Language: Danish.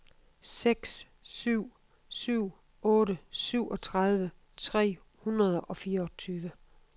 seks syv syv otte syvogtredive tre hundrede og fireogtyve